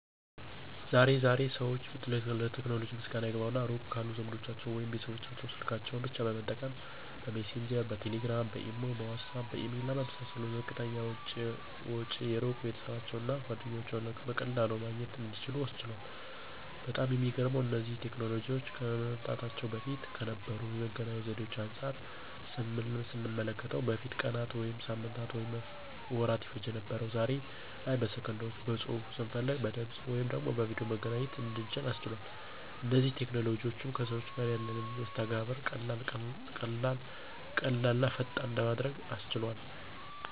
ዛሬ ዛሬ ሰዎች ለቴክኖሎጂ ምስጋና ይግባውና ሩቅ ካሉ ዘመዶቻቸው ወይም ቤተሰቦቻቸው ስልካቸውን ብቻ በመጠቀም :- በሚሴንጀር፣ በቴሌግራም፣ በኢሞ፣ በዋትስአፕ፣ በኢሜል እና በመሳሰሉት በዝቅተኛ ወጪ የሩቅ ቤተሰባቸውን እና ጓደኞቻቸውን በቀላሉ ማግኘት እንዲችሉ አስችሏል። በጣም የሚገርመው እነዚህ ቴክኖሎጂዎች ከመምጣታቸው በፊት ከነበሩ የመገናኛ ዘዴዎች አንጻር ስንመለከተው በፊት ቀናት ወይም ሳምንታትና ወራት ይፈጅ የነበረው ዛሬ ላይ በሰከንዶች በፅሁፍ፣ ስንፈልግ በድምፅ ወይም በቪድዮ መገናኘት እንድንችል አስችሏል። እነዚህ ቴክኖሎጂዎችም ከሰዎች ጋር ያለንን መስተጋብር ቀላል ቀላልና ፈጣን በማድረግ አሻሽሎታል።